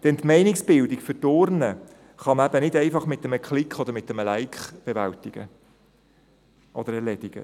Denn die Meinungsbildung für die Urne kann eben nicht einfach mit einem Klick oder einem «Like» erledigt werden.